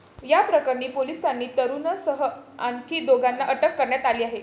याप्रकरणी पोलिसांनी तरूणसह आणखी दोघांना अटक करण्यात आली आहे.